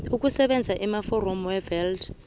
ukusebenza amaforomo wevat